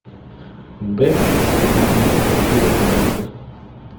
баффи истребительница вампиров найди ка